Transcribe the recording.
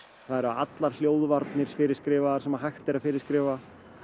það eru allar hljóðvarnir fyrirskrifaðar sem hægt er að fyrirskrifa